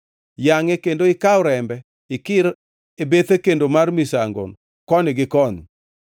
Yangʼe kendo ikaw rembe ikir e bethe kendo mar misango koni gi koni.